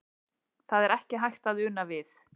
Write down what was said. Það er ekki hægt að una við.